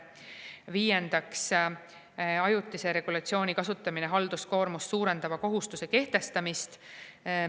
Viiendaks, ajutise regulatsiooni kasutamine halduskoormust suurendava kohustuse kehtestamisel.